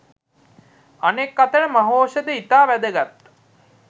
අනෙක් අතට මහෞෂධ ඉතා වැදගත්